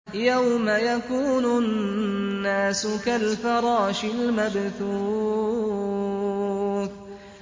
يَوْمَ يَكُونُ النَّاسُ كَالْفَرَاشِ الْمَبْثُوثِ